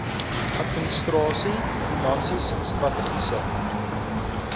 administrasie finansies strategiese